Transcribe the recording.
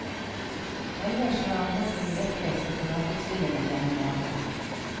Ellers har han holdt en rekke separatustillinger gjennom årene.